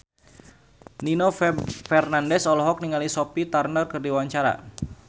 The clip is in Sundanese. Nino Fernandez olohok ningali Sophie Turner keur diwawancara